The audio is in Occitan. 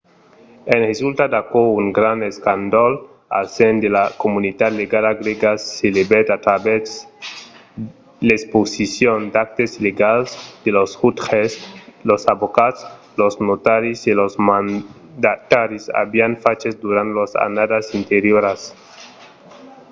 en resulta d’aquò un grand escàndol al sen de la comunitat legala grèga s'elevèt a travèrs l'exposicion d’actes illegals que los jutges los avocats los notaris e los mandataris avián faches durant las annadas anterioras